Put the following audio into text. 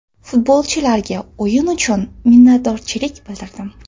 Futbolchilarga o‘yin uchun minnatdorchilik bildirdim.